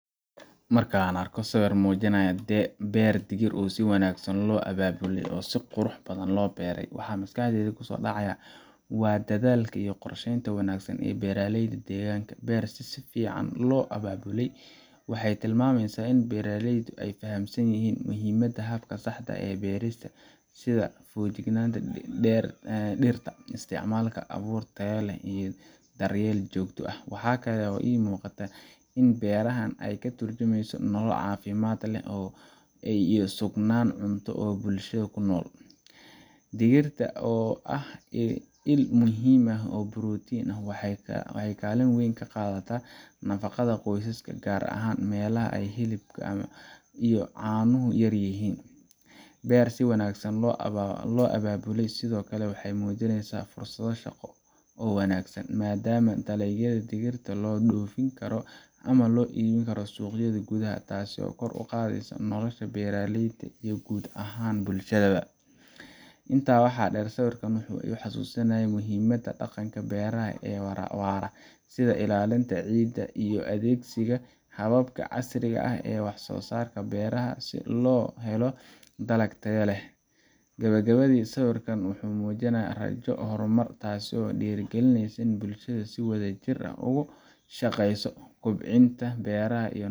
Markaan arko sawirka muujinaya beer digir si wanaagsan loo abaabulay oo si qurux badan loo beertay, waxa maskaxdayda ku soo dhacaya waa dadaalka iyo qorsheynta wanaagsan ee beeralayda deegaanka. Beer si fiican loo abaabulay waxay tilmaamaysaa in beeralaydu ay fahamsan yihiin muhiimadda habka saxda ah ee beerista, sida kala fogeynta dhirta, isticmaalka abuur tayo leh iyo daryeel joogto ah. Waxa kale oo ii muuqata in beerahan ay ka turjumayso nolol caafimaad leh iyo sugnaan cunto oo bulshada ku nool. Digirta oo ah il muhiim ah oo borotiin ah waxay kaalin weyn ka qaadataa nafaqada qoysaska, gaar ahaan meelaha ay hilibka iyo caanuhu yaryihiin. Beer si wanaagsan loo abaabulay sidoo kale waxay muujinaysaa fursado dhaqaale oo wanaagsan, maadaama dalagyada digirta loo dhoofin karo ama lagu iibin karo suuqyada gudaha, taasoo kor u qaadaysa nolosha beeralayda iyo guud ahaan bulshada. Intaa waxaa dheer, sawirkan wuxuu ii xasuusinayaa muhiimadda dhaqanka beeraha ee waara, sida ilaalinta ciidda iyo adeegsiga hababka casriga ah ee wax soo saarka beeraha si loo helo dalag tayo sare leh. Gabagabadii, sawirkani wuxuu muujinayaa rajo iyo horumar, taasoo dhiirrigelinaysa in bulshadu si wadajir ah uga shaqeyso kobcinta beeraha iyo